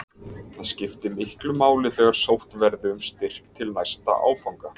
Það skipti miklu máli þegar sótt verði um styrk til næsta áfanga.